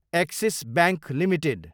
axis bank Ltd